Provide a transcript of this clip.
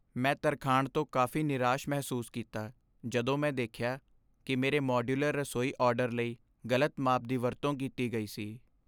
ਮੈਂ ਤਰਖਾਣ ਤੋਂ ਕਾਫ਼ੀ ਨਿਰਾਸ਼ ਮਹਿਸੂਸ ਕੀਤਾ ਜਦੋਂ ਮੈਂ ਦੇਖਿਆ ਕਿ ਮੇਰੇ ਮਾਡਯੂਲਰ ਰਸੋਈ ਆਰਡਰ ਲਈ ਗ਼ਲਤ ਮਾਪ ਦੀ ਵਰਤੋਂ ਕੀਤੀ ਗਈ ਸੀ।